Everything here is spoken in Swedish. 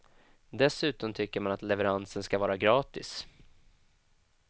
Dessutom tycker man att levereransen ska vara gratis.